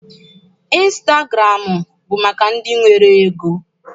Ịnstagụramụ bụ maka ndị nwere ego.